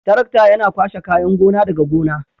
Tarakta Yana kwashe kayan gona daga gona.